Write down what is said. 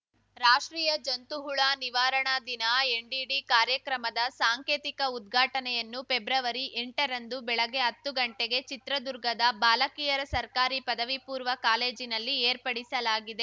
ರಾಷ್ಟ್ರೀಯ ಜಂತುಹುಳ ನಿವಾರಣಾ ದಿನ ಎನ್‌ಡಿಡಿ ಕಾರ್ಯಕ್ರಮದ ಸಾಂಕೇತಿಕ ಉದ್ಘಾಟನೆಯನ್ನು ಫೆಬ್ರವರಿಎಂಟರಂದು ಬೆಳಗ್ಗೆ ಹತ್ತುಗಂಟೆಗೆ ಚಿತ್ರದುರ್ಗದ ಬಾಲಕಿಯರ ಸರ್ಕಾರಿ ಪದವಿಪೂರ್ವ ಕಾಲೇಜಿನಲ್ಲಿ ಏರ್ಪಡಿಸಲಾಗಿದೆ